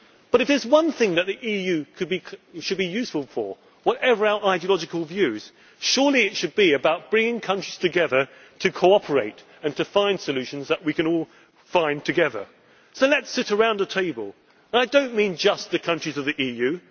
trust. But if there is one thing that the EU should be useful for, whatever our ideological views, surely it should be about bringing countries together to cooperate and to find solutions that we can all find together, and so let us sit around a table and I do not mean just the countries